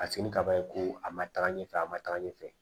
A fini kaba in ko a ma taga ɲɛfɛ a ma taga ɲɛfɛ